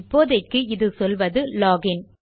இப்போதைக்கு இது சொல்வது லாக் இன்